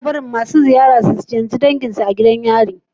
Ana barin masu ziyara su ziyarce dangin su a gidan yari